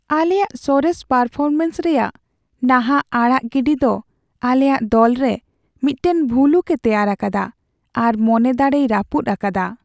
ᱟᱞᱮᱭᱟᱜ ᱥᱚᱨᱮᱥ ᱯᱟᱨᱯᱷᱚᱨᱢᱮᱱᱥ ᱨᱮᱭᱟᱜ ᱱᱟᱦᱟᱜ ᱟᱲᱟᱜ ᱜᱤᱰᱤ ᱫᱚ ᱟᱞᱮᱭᱟᱜ ᱫᱚᱞᱨᱮ ᱢᱤᱫᱴᱟᱝ ᱵᱷᱩᱞᱩᱠᱼᱮ ᱛᱮᱭᱟᱨ ᱟᱠᱟᱫᱟ ᱟᱨ ᱢᱚᱱᱮ ᱫᱟᱲᱮᱭ ᱨᱟᱹᱯᱩᱫ ᱟᱠᱟᱫᱟ ᱾